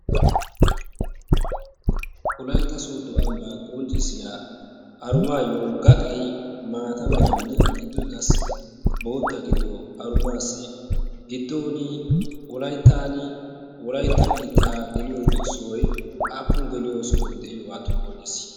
wolaytta soodo ambaa qonccissiya arumaayo gaxxay maata meranne giddoy qaasi bootta gidiyo arumaasii gidooni wolayttaanin wolaytta biitaa geliyo sohoy appun geliyo sohoy diyoogaatto qoncissii?